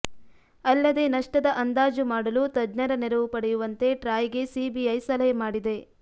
ಅಲ್ಲದೇ ನಷ್ಟದ ಅಂದಾಜು ಮಾಡಲು ತಜ್ಞರ ನೆರವು ಪಡೆಯುವಂತೆ ಟ್ರಾಯ್ಗೆ ಸಿಬಿಐ ಸಲಹೆ ಮಾಡಿದೆ